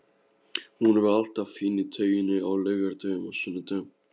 Hún var alltaf fín í tauinu á laugardögum og sunnudögum.